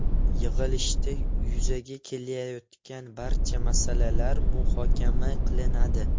Yig‘ilishda yuzaga kelayotgan barcha masalalar muhokama qilinadi.